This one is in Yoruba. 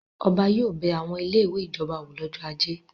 Ọba yóò bẹ àwọn ilé-ìwé ìjọba wò lọ́jọ́ ajé.